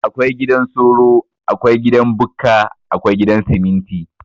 Akwai gidan soro, Akwai gidan Bukka, Akwai gidan siminti.